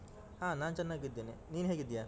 ಹಾ ನಾನ್ ಚೆನ್ನಾಗಿದ್ದೇನೆ, ನೀನ್ ಹೇಗಿದ್ದೀಯಾ?